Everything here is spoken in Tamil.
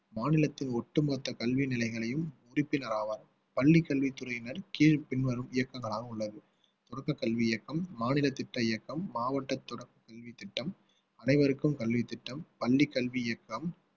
மாநிலத்தின் ஒட்டுமொத்த கல்வி நிலையங்களையும் உறுப்பினர் ஆவார் பள்ளிக்கல்வித்துறையினர் கீழ் பின்வரும் இயக்கங்களாக உள்ளது தொடக்கக்கல்வி இயக்கம் மாநில திட்ட இயக்கம் மாவட்ட தொடர்பு கல்வி திட்டம் அனைவருக்கும் கல்வித்திட்டம் பள்ளி கல்வி இயக்கம்